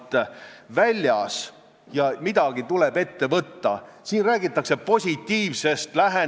Aga samas võime ju rahulikult öelda: täna on neljapäev, järgmine nädal on kõrvitsanädal, kõik me tähistame seda ja pole meil keelega suurt häda midagi.